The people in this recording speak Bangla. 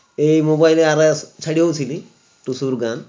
এই mobile এরা ছেরে ও ছিলি টুসুর গান